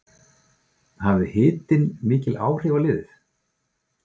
Hafði hitinn mikil áhrif á liðið?